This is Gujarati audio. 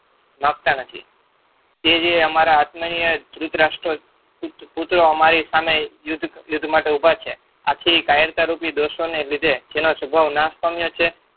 નથી. તે જે અમારા આત્મનિય અમારી સામે યુદ્ધ માત્ર ઉભા છે. આથી કાયરતા રૂપી દોષોને લીધે જેનો સ્વભાવ નાસ પામ્યો છે.